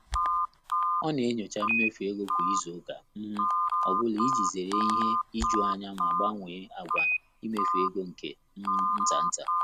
Ọ́ nà-ényóchá mméfù égo kwá ízù ụ́ká um ọ́ bụ́lá ìjí zéré ìhè íjù ányá mà gbànwèé àgwà íméfù égo nké um ntá ntá.